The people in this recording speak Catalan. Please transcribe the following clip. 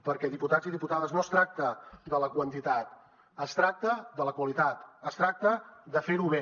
perquè diputats i diputades no es tracta de la quantitat es tracta de la qualitat es tracta de fer ho bé